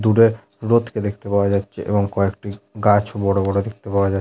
দূরে রোদ কে দেখতে পাওয়া যাচ্ছে এবং কয়েকটি গাছ ও বড় বড় দেখতে পাওয়া যা --